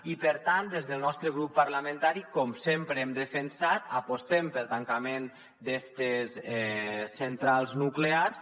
i per tant des del nostre grup parlamentari com sempre hem defensat apostem pel tancament d’estes centrals nuclears